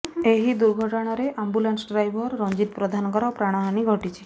ଏହି ଦୁର୍ଘଟଣାରେ ambulance driver Ranjit ପ୍ରଧାନଙ୍କର ପ୍ରାଣହାନି ଘଟିଛି